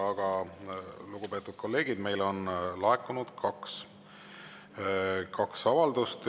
Aga, lugupeetud kolleegid, meile on laekunud kaks avaldust.